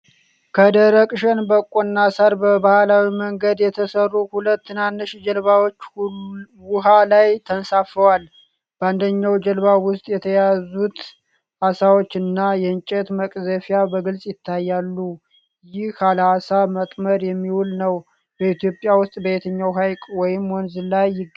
ከደረቅ ሸንበቆና ሳር በባህላዊ መንገድ የተሠሩ ሁለት ትናንሽ ጀልባዎች ውሃ ላይ ተንሳፈዋል። በአንደኛው ጀልባ ውስጥ የተያዙት አሳዎች እና የእንጨት መቅዘፊያ በግልጽ ይታያሉ። ይህ ለዓሣ ማጥመድ የሚውል ነው። በኢትዮጵያ ውስጥ በየትኛው ሐይቅ ወይም ወንዝ ላይ ይገኛሉ?